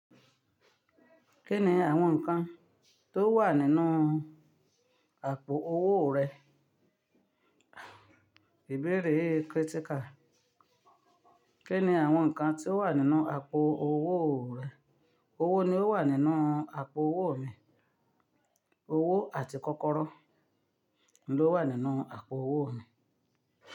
Kí ni àwọn nǹkan tó wà nínú àpò owó rẹ? Ìbéèrè yii krítíkà. Kí ni àwọn nǹkan tí ó wà nínú àpò owó rẹ? Owó ni ó wà nínú àpò owó mi. Owó àti kọ́kọ́rọ́ ni ó wà nínú àpò owó mi.